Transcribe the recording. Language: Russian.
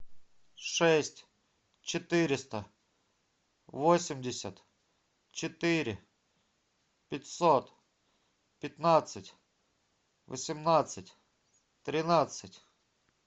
шесть четыреста восемьдесят четыре пятьсот пятнадцать восемнадцать тринадцать